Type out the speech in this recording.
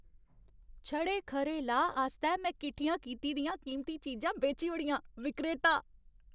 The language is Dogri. छड़े खरे लाह् आस्तै में किट्ठियां कीती दियां कीमती चीजां बेची ओड़ियां। विक्रेता